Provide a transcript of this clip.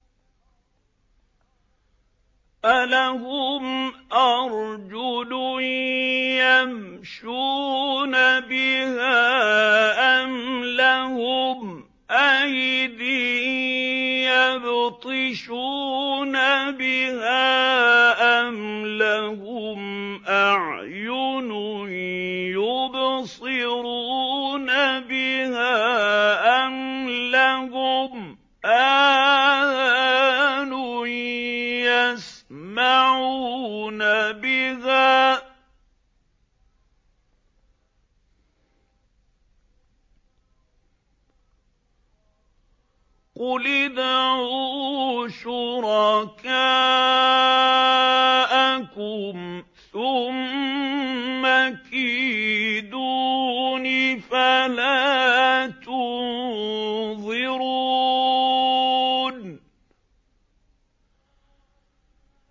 أَلَهُمْ أَرْجُلٌ يَمْشُونَ بِهَا ۖ أَمْ لَهُمْ أَيْدٍ يَبْطِشُونَ بِهَا ۖ أَمْ لَهُمْ أَعْيُنٌ يُبْصِرُونَ بِهَا ۖ أَمْ لَهُمْ آذَانٌ يَسْمَعُونَ بِهَا ۗ قُلِ ادْعُوا شُرَكَاءَكُمْ ثُمَّ كِيدُونِ فَلَا تُنظِرُونِ